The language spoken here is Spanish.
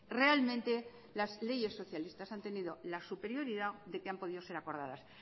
realmente las leyes socialistas han tenido la superioridad de que han podido ser acordadas